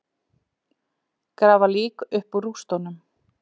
Grafa lík upp úr rústum